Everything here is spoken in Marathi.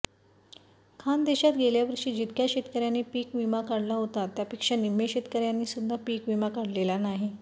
खान्देशात गेल्यावर्षी जितक्या शेतकऱ्यांनी पीक विमा काढला होता त्यापेक्षा निम्मे शेतकऱ्यांनीसुद्धा पीक विमा काढलेला नाही